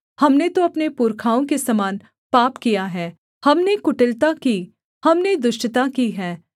हमने तो अपने पुरखाओं के समान पाप किया है हमने कुटिलता की हमने दुष्टता की है